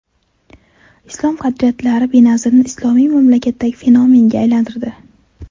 Islom qadriyatlari Benazirni islomiy mamlakatdagi fenomenga aylantirdi.